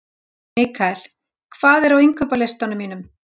Mikkael, hvað er á innkaupalistanum mínum?